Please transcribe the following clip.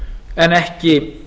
en ekki